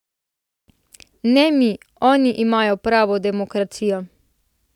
Ne mi, oni imajo pravo demokracijo!